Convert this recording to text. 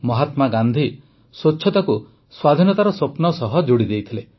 ମହାତ୍ମା ଗାନ୍ଧି ସ୍ୱଚ୍ଛତାକୁ ସ୍ୱାଧୀନତାର ସ୍ୱପ୍ନ ସହ ଯୋଡ଼ି ଦେଇଥିଲେ